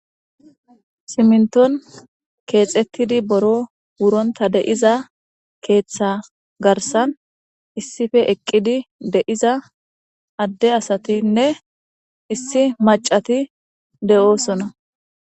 Siminton keexettidi boro wuronta de'iza keeththa garsan issife eqqidi de'iza adde asatinne issi macati de'oosona.